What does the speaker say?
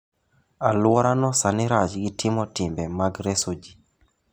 Aluorano sani rach gi timo timbe mag reso ji.